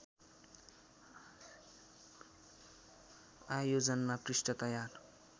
आयोजना पृष्ठ तयार